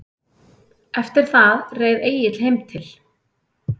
Eftir það reið Egill heim til